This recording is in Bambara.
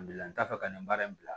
Bila n t'a fɛ ka nin baara in bila